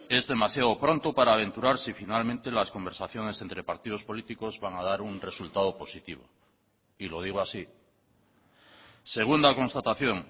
es demasiado pronto para aventurar si finalmente las conversaciones entre partidos políticos van a dar un resultado positivo y lo digo así segunda constatación